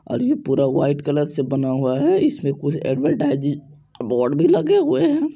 और ये जो पूरा व्हाइट कलर से बना हूआ है और इसमे कुछ ऐड्वर्टाइज़ बोर्ड भी लगे हुए है।